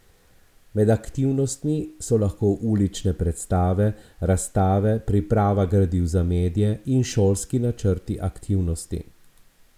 Med aktivnostmi so lahko ulične predstave, razstave, priprava gradiv za medije in šolski načrti aktivnosti.